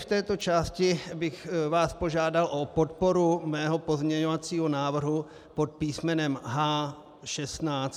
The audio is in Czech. V této části bych vás požádal o podporu mého pozměňovacího návrhu pod písm.